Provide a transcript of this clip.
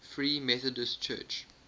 free methodist church